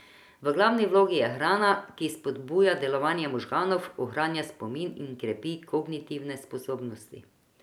V glavni vlogi je hrana, ki spodbuja delovanje možganov, ohranja spomin in krepi kognitivne sposobnosti.